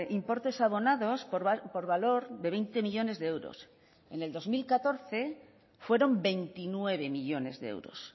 importes abonados por valor de veinte millónes de euros en el dos mil catorce fueron veintinueve millónes de euros